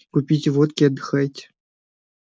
купите водки и отдыхайте